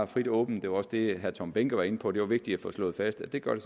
frit og åbent det var også det herre tom behnke var inde på det er vigtigt at få slået fast at det gør det